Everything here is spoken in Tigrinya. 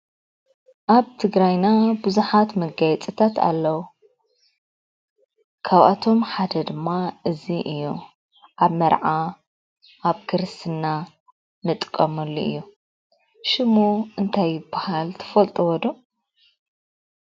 ኣብ ትግራይና ብዙሓት መጋየፂታት ኣለው፡፡ ካብኣቶም ሓደ ድማ እዚ እዩ፡፡ ኣብ መርዓ፣ ኣብ ክርስትና እንጥቀመሉ እዩ፡፡ ሽሙ እንታይ ይባሃል ትፈልጡዎ ዶ?